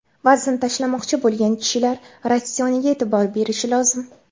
Vazn tashlamoqchi bo‘lgan kishilar ratsioniga e’tibor berishi lozim.